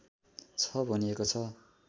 छ भनिएको छ